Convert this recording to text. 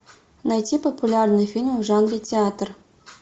найти популярные фильмы в жанре театр